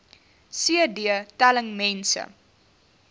cd telling mense